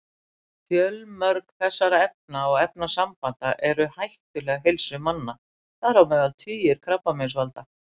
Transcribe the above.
Fjölmörg þessara efna og efnasambanda eru hættuleg heilsu manna, þar á meðal tugir krabbameinsvalda.